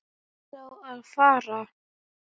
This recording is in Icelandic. Ertu þá að fara?